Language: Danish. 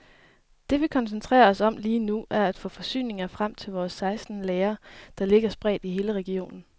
Det vi koncentrerer os om lige nu, er at få forsyninger frem fra vores seksten lagre, der ligger spredt i hele regionen.